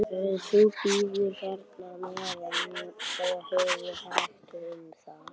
Þú bíður hérna á meðan og hefur hægt um þig.